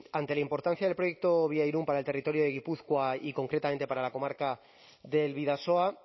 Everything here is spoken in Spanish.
ante la importancia del proyecto víairun para el territorio de gipuzkoa y concretamente para la comarca del bidasoa